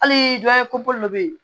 Hali dɔ bɛ yen